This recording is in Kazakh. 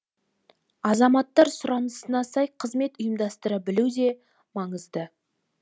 азаматтар сұранысына сай қызмет ұйымдастыра білу де маңызды